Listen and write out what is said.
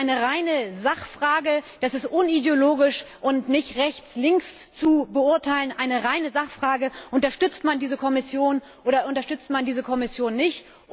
Das ist eine reine Sachfrage, das ist unideologisch und nicht rechts links zu beurteilen Unterstützt man diese Kommission oder unterstützt man diese Kommission nicht?